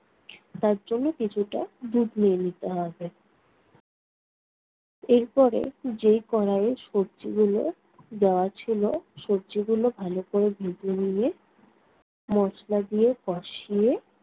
তার জন্য কিছুটা দুধ নিয়ে নিতে হবে। এরপরে যেই কড়াইয়ে সবজিগুলো দেওয়া ছিলো, সবজিগুলো ভালো কোরে ভেজে নিয়ে মসলা দিয়ে কষিয়ে